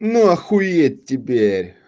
ну охуеть теперь